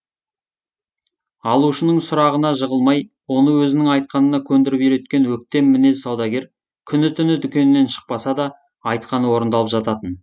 алушының сұрағанына жығылмай оны өзінің айтқанына көндіріп үйреткен өктем мінез саудагер күні түні дүкенінен шықпаса да айтқаны орындалып жататын